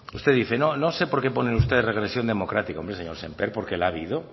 usted dice no no sé por qué ponen ustedes regresión democrática hombre señor sémper porque la ha habido